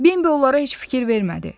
Bembə onlara heç fikir vermədi.